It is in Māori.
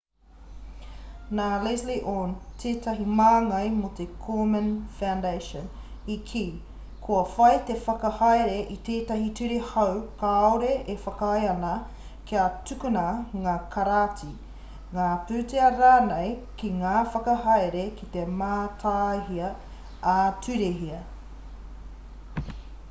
nā leslie aun tētahi māngai mō te komen foundation i kī kua whai te whakahaere i tētahi ture hou kāore e whakaae ana kia tukuna ngā karāti ngā pūtea rānei ki ngā whakahaere kei te mātaihia ā-turehia